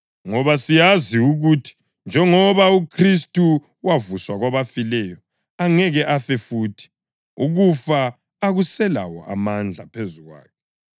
Ngoba siyazi ukuthi njengoba uKhristu wavuswa kwabafileyo, angeke afe futhi; ukufa akuselawo amandla phezu kwakhe.